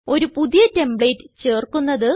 ഒരു പുതിയ ടെംപ്ലേറ്റ് ചേർക്കുന്നത്